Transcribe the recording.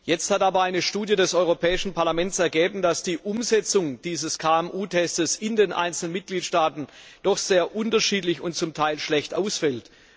Jetzt hat aber eine Studie des Europäischen Parlaments ergeben, dass die Umsetzung dieses KMU Tests in den einzelnen Mitgliedstaaten doch sehr unterschiedlich und zum Teil schlecht ausfällt.